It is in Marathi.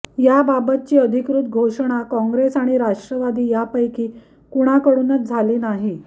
याबाबतची अधिकृत घोषणा काँग्रेस आणि राष्ट्रवादी यापैकी कुणाकडूनच झाली नाही